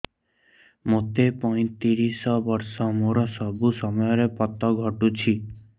ମୋତେ ପଇଂତିରିଶ ବର୍ଷ ମୋର ସବୁ ସମୟରେ ପତ ଘଟୁଛି